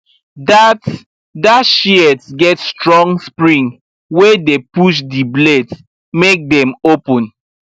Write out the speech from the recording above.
that that shears get strong spring wey dey push the blades make dem open